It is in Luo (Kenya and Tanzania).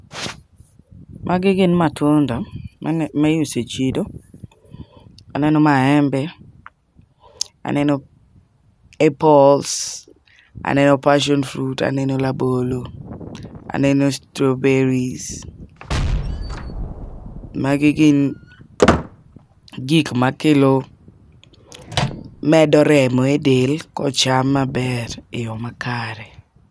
Magi gin matunda ma iuso e chiro, aneno maembe, aneno apples, aneno passion fruits, aneno rabolo aneno strawberries. Magi gin gik ma kelo medo remo e del kocham maber e yo makere.